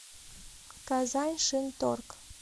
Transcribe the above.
казань шинторг